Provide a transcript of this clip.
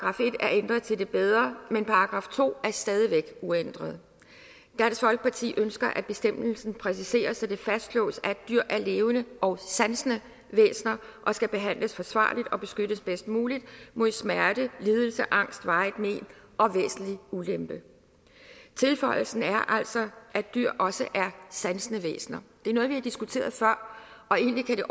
ændret til det bedre men § to er stadig væk uændret dansk folkeparti ønsker at bestemmelsen præciseres så det fastslås at dyr er levende og sansende væsener der skal behandles forsvarligt og beskyttes bedst muligt mod smerte lidelse angst varigt mén og væsentlig ulempe tilføjelsen er altså at dyr også er sansende væsener det er noget vi har diskuteret før og egentlig kan det